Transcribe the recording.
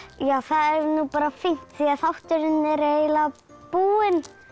það er nú bara fínt því þátturinn er eiginlega búinn